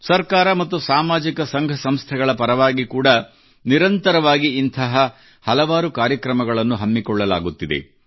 ಸರ್ಕಾರ ಮತ್ತು ಸಾಮಾಜಿಕ ಸಂಘ ಸಂಸ್ಥೆಗಳ ಪರವಾಗಿ ಕೂಡಾ ನಿರಂತರವಾಗಿ ಇಂಥ ಹಲವಾರು ಕಾರ್ಯಕ್ರಮಗಳನ್ನು ಹಮ್ಮಿಕೊಳ್ಳಲಾಗುತ್ತಿದೆ